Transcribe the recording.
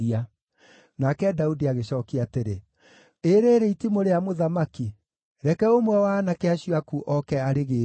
Nake Daudi agĩcookia atĩrĩ, “Ĩ rĩĩrĩ itimũ rĩa mũthamaki. Reke ũmwe wa aanake acio aku oke arĩgĩĩre.